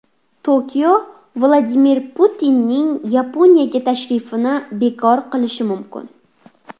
Tokio Vladimir Putinning Yaponiyaga tashrifini bekor qilishi mumkin.